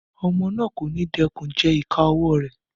Ọmọ náà kò ní dẹ́kun gé ìka ọwọ́ rẹ̀